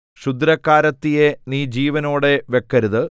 ക്ഷുദ്രക്കാരത്തിയെ നീ ജീവനോടെ വെക്കരുത്